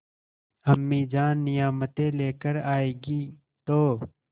अम्मीजान नियामतें लेकर आएँगी तो